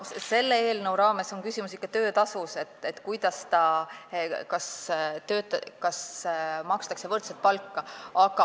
Selle eelnõu raames on küsimus ikkagi töötasus, selles, kas makstakse võrdset palka.